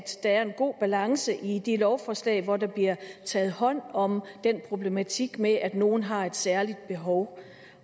der er en god balance i de lovforslag hvor der bliver taget hånd om den problematik med at nogle har et særligt behov